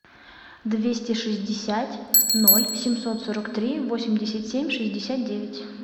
двести шестьдесят ноль семьсот сорок три восемьдесят семь шестьдесят девять